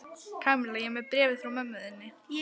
Kamilla, ég er með bréfið frá mömmu þinni.